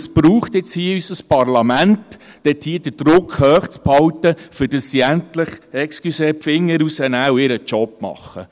Es braucht nun unser Parlament, das den Druck hochhält, damit sie endlich – entschuldigen Sie! – den Finger rausnehmen und ihren Job machen.